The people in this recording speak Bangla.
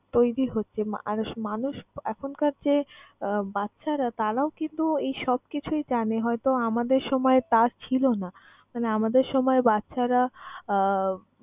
তৈরি হচ্ছে মানুষ মানুষ এখনকার যে আহ বাচ্চারা তারাও কিন্তু এই সবকিছুই জানে। হয়তো আমাদের সময় তা ছিল না। মানে আমাদের সময় বাচ্চারা আহ